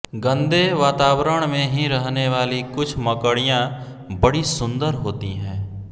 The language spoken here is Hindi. गंदे वातावरण में ही रहनेवाली कुछ मकड़ियाँ बड़ी सुंदर होती हैं